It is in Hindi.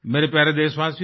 मेरे प्यारे देशवासियो